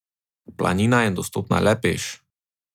Planina je dostopna le peš.